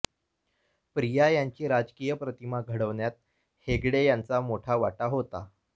प्रिया यांची राजकीय प्रतिमा घडवण्यात हेगडे यांचा मोठा वाटा होता